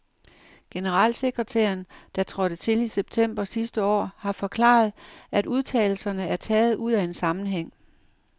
Generalsekretæren, der trådte til i september sidste år, har forklaret, at udtalelserne er taget ud af en sammenhæng.